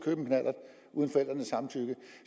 ud